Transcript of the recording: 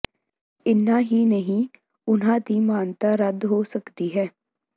ਇੰਨਾਂ ਹੀ ਨਹੀਂ ਉਨ੍ਹਾਂ ਦੀ ਮਾਨਤਾ ਰੱਦ ਹੋ ਸਕਦੀ ਹੈ